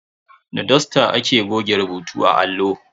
Da dusta ake goge rubutu a allo.